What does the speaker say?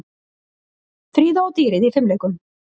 Fríða og dýrið í fimleikum